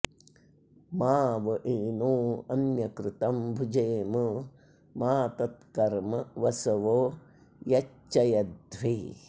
मा व एनो अन्यकृतं भुजेम मा तत्कर्म वसवो यच्चयध्वे